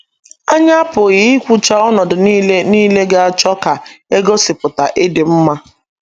Anyị apụghị ikwucha ọnọdụ nile nile ga - achọ ka e gosipụta ịdị mma.